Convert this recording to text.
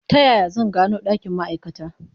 Ta yaya zan gano ɗakin ma'aikata?